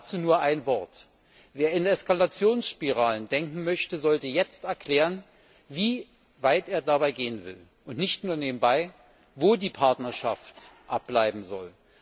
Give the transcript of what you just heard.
Dazu nur ein Wort Wer in Eskalationsspiralen denken möchte, sollte jetzt erklären, wie weit er dabei gehen will, und nicht nur nebenbei, wo die Partnerschaft abbleiben soll.